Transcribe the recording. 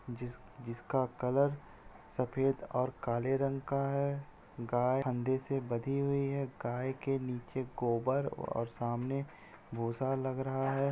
जिस जिसका कलर सफ़ेद और काले रंग का है। गाय फंदे से बंधी हुई है गाय के नीचे गोबर और सामने भूसा लग रहा है।